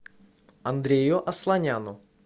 андрею асланяну